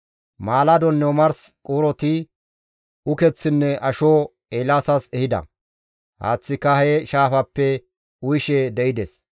Maaladonne omars quuroti ukeththinne asho Eelaasas ehida; haaththika he shaafappe uyishe de7ides.